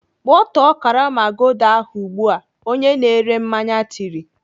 Gbọtọọ karama Gulder ahụ ugbu a!" Onye na-ere mmanya tiri